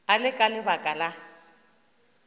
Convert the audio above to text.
e le ka lebaka la